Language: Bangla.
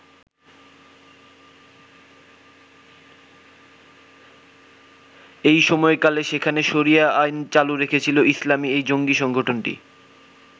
এই সময়কালে সেখানে শরিয়া আইন চালু রেখেছিল ইসলামি এই জঙ্গি সংগঠনটি।